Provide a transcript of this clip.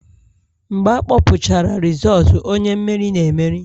Mgbe akpọpụchara rizootu, onye mmeri na-emeri